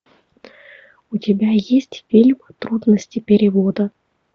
у тебя есть фильм трудности перевода